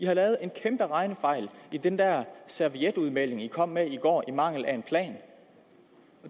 har lavet en kæmpe regnefejl i den der servietudmelding man kom med i går i mangel af en plan